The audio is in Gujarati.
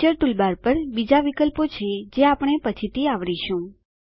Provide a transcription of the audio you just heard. પિક્ચર ટૂલબાર પર બીજા વિકલ્પો છે જે આપણે પછીથી આવરીશું